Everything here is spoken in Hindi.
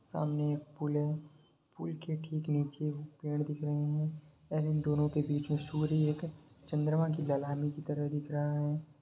सामने एक पुल है पुल के ठीक नीचे पेड़ दिख रहे है और इन दोनों के बीच सूर्य एक चन्द्रमाँ की दलाली की तरह दिख रहा है।